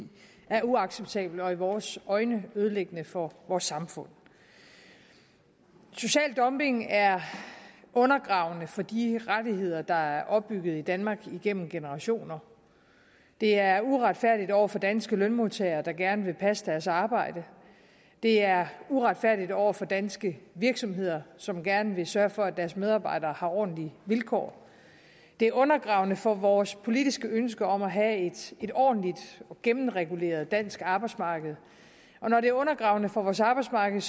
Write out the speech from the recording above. er uacceptabelt og i vores øjne ødelæggende for vores samfund social dumping er undergravende for de rettigheder der er opbygget i danmark igennem generationer det er uretfærdigt over for danske lønmodtagere der gerne vil passe deres arbejde det er uretfærdigt over for danske virksomheder som gerne vil sørge for at deres medarbejdere har ordentlige vilkår det er undergravende for vores politiske ønske om at have et ordentligt og gennemreguleret dansk arbejdsmarked og når det er undergravende for vores arbejdsmarked